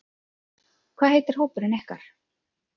Hvað heitir hópurinn ykkar?